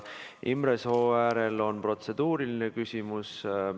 Imre Sooäärel on protseduuriline küsimus.